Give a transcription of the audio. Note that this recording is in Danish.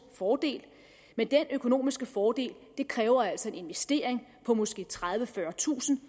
fordel men den økonomiske fordel kræver altså en investering på måske tredivetusind